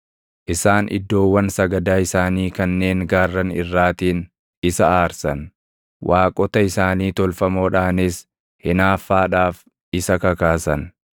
Isaan iddoowwan sagadaa isaanii kanneen gaarran irraatiin isa aarsan; waaqota isaanii tolfamoodhaanis hinaaffaadhaaf isa kakaasan.